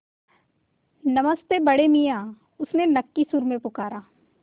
नमस्ते बड़े मियाँ उसने नक्की सुर में पुकारा